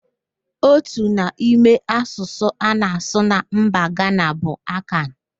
Otu n'ime asụsụ a na-asụ na mba Gana bụ Akan